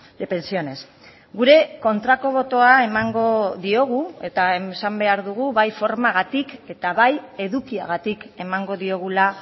de pensiones gure kontrako botoa emango diogu eta esan behar dugu bai formagatik eta bai edukiagatik emango diogula